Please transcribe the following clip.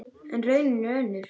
En raunin er önnur.